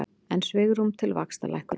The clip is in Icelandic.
Enn svigrúm til vaxtalækkunar